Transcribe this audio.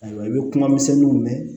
Ayiwa i bɛ kuma misɛnninw mɛn